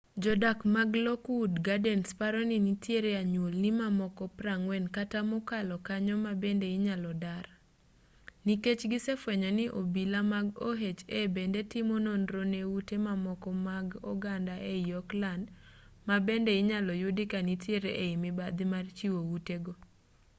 jo-dak mag lockwood gardens paro ni nitiere anyuolni mamoko 40 kata mokalo kanyo mabende inyalo dar nikech gisefuenyo ni obila mag oha bende timo nonro ne ute mamoko mag oganda ei oakland ma bende inyalo yudi ka nitiere ei mibadhi mar chiwo ute go